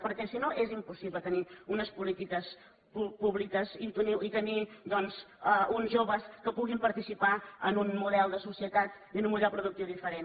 perquè si no és impossible tenir unes polítiques públiques i tenir doncs uns joves que puguin participar en un model de societat i en un model productiu diferent